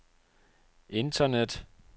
internet